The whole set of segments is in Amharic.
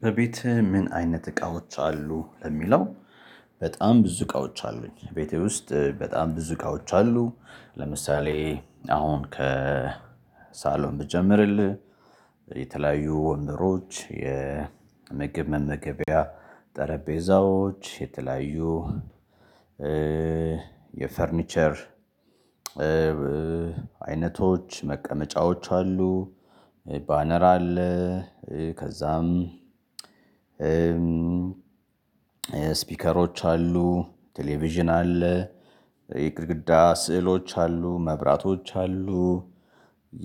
በቤትህ ምን አይነት እቃዎች አሉ ለሚለው? በጣም ብዙ እቃዎች አሉኝ ቤቴ ውስጥ በጣም ብዙ እቃዎች አሉ። ለምሳሌ አሁን ከ ሳሎን ብጀምርልህ የተለያዩ ወንበሮች የምግብ መመገቢያ ጠረጴዛዎች የተለያዩ የፈርኒቸር አይነቶች መቀመጫዎች አሉ። ባነር አለ። ከዛም ስፒከሮች አሉ ቴሌቪዥን አለ። ግድግዳ ስዕሎች አሉ መብራቶች አሉ።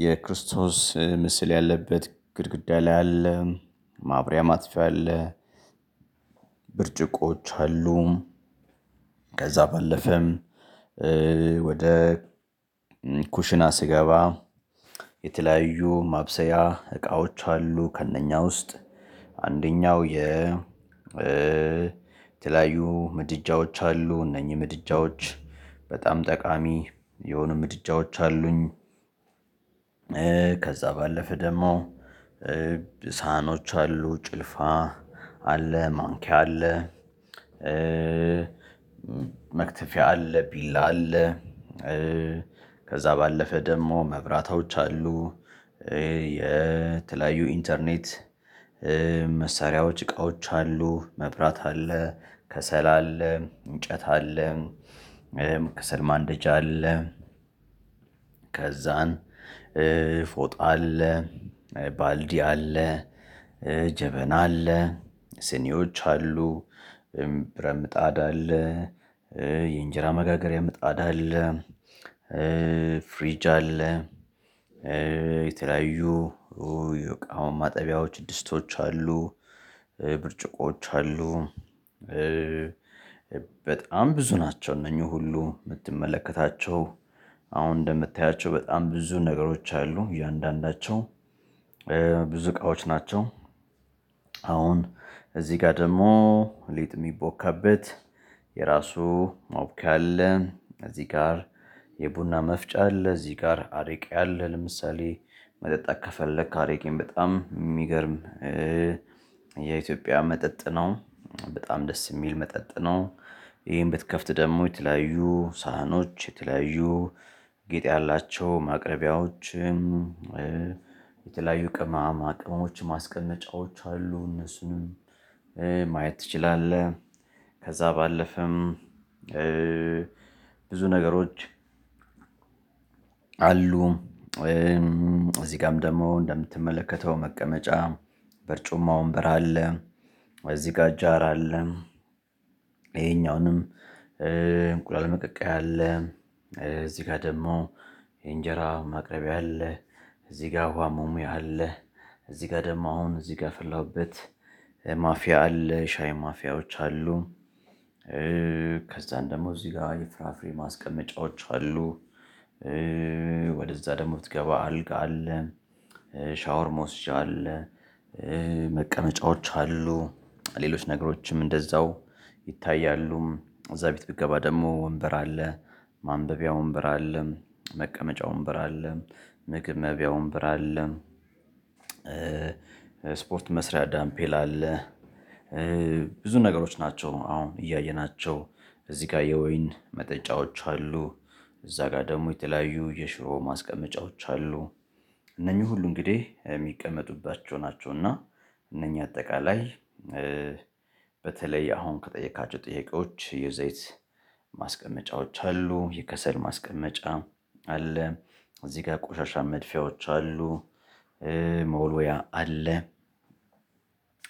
የክርስቶስ ምስል ያለበት ግድግዳ ላይ አለ ማብሪያ ማጥፊያ አለ። ብርጭቆች አሉ። ከዛ ባለፈም ወደ ኩሽና ስገባ የተለያዩ ማብሰያ እቃዎች አሉ ከእነኛ ውስጥ አንደኛው የ የተለያዩ ምድጃዎች አሉ እነኚህ ምድጃዎች በጣም ጠቃሚ የሆኑ ምድጃዎች አሉኝ። ከዛ ባለፈ ደግሞ ሳህኖች አሉ ጭልፋ አለ ማንኪያ አለ። መክተፊያ አለ ቢላ አለ። ከዛ ባለፈ ደግሞ መብራቶች አሉ። የተለያዩ ኢንተርኔት መሳሪያዎች እቃዎች አሉ መብራት አለ ከሰል አለ እንጨት አለ። ከሰል ማንደጃ አለ። ከዛን ፎጣ አለ። ባልዲ አለ። ጀበና አለ ስኒዎች አሉ። ብረትምጣድ አለ። የእንጀራ መጋገሪያ ምጣድ አለ። ፍሪጅ አለ። የተለያዩ አሁን ማጠቢያዎች ድስቶች አሉ ብርጭቆዎች አሉ። በጣም ብዙ ናቸው እነኚህ ሁሉ የምትመለከታቸው አሁን እንደምታያቸው በጣም ብዙ ነገሮች አሉ እያንዳንዳቸው ብዙ እቃዎች ናቸው። አሁን እዚህ ጋር ደግሞ ሊጥ የሚቦካበት የራሱ ማቡኪያ አለ። እዚህ ጋር የቡና መፍጫ አለ እዚህ ጋር አረቄ አለ ለምሳሌ መጠጣት ከፈለክ አረቄን በጣም የሚገርም የኢትዮጵያ መጠጥ ነው። በጣም ደስ የሚል መጠጥ ነው። ይሄን ብትከፍት ደግሞ የተለያዩ ሳህኖች የተለያዩ ጌጥ ያላቸው ማቅረቢያዎችም የተለያዩ ቅመማ ቅመሞች ማስቀመጫዎች አሉ። እነሱን ማየት ትችላለህ። ከዛ ባለፈም ብዙ ነገሮች አሉ። እ እዚህ ጋርም ደግሞ እንደምትመለከተው መቀመጫ በርጩማ ወንበር አለ። እዚህ ጋር ጃር አለ። ይሄኛውንም እንቁላል መቀቀያ አለ። እዚህ ጋር ደግሞ የእንጀራ ማቅረብያ አለ። እዚህ ጋር ውሃ መሙያ አለ። እዚህ ጋር ደግሞ አሁን እዚህ ጋር ያፈላሁበት ማፍያ አለ ሻይ ማፍያዎች አሉ። ከዛ ደግሞ እዚህ ጋር የፍራፍሬ ማስቀመጫዎች አሉ። ወደዛ ደግሞ ስትገባ አልጋ አለ። ሻወር መውሰጃ አለ። መቀመጫዎች አሉ ሌሎች ነገሮችም እንደዛው ይታያሉም እዛ ቤት ብትገባ ደግሞ ወንበር አለ ማንበቢያ ወንበር አለ መቀመጫ ወንበር አለ ምግብ መብያ ወንበር አለ። ስፖርት መስሪያ ዳምፔል አለ ብዙ ነገሮች ናቸው። አሁን እያየናቸው እዚህ ጋር የወይን መጠጫዎች አሉ። እዛ ጋር ደግሞ የተለያዩ የሽሮ ማስቀመጫዎች አሉ። እነኚህ ሁሉ እንግዲህ የሚቀመጡባቸው ናቸው። እና እነኚህ አጠቃላይ በተለይ አሁን ከጠየካቸው ጥያቄዎች የዘይት ማስቀመጫዎች አሉ የከሰል ማስቀመጫ አለ። እዚህ ጋር ቆሻሻ መድፊያዎች አሉ። መውለያ አለ።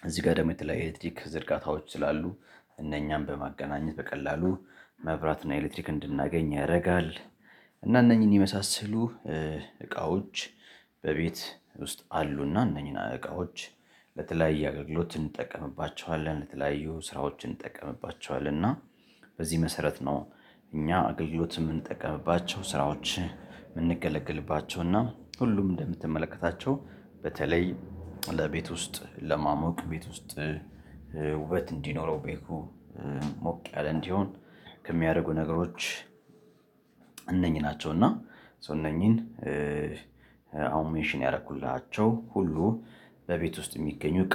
እዚህ ጋር ደግሞ የተለያየ ኤሌክትሪክ ዝርጋታዎች ስላሉ እነኛም በማገናኘት በቀላሉ መብራት እና ኤሌክትሪክ እንድናገኝ ያደርጋል። እና እነኚህን የመሳሰሉ እቃዎች በቤት ውስጥ አሉና እነኚህን እቃዎች ለተለያየ አገልግሎት እንጠቀምባቸዋለን። ለተለያዩ ስራዎችን እንጠቀምባቸዋለን። እና በዚህ መሰረት ነው። እኛ አገልግሎት የምንጠቀምባቸው ስራዎች የምንገለግልባቸው እና ሁሉም እንደምትመለከታቸው በተለይ ለቤት ውስጥ ለማሞቅ ቤት ውስጥ ውበት እንዲኖረው ቤቱ ሞቅ ያለ እንዲሆን ከሚያደርጉ ነገሮች እነኚህ ናቸው። እና እነኚህን አሁን ሜንሽን ያደረኩላቸው ሁሉ በቤት ውስጥ የሚገኙ